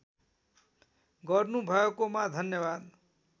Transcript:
गर्नुभएकोमा धन्यवाद